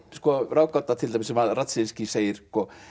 ráðgáta til dæmis sem Radzinskij segir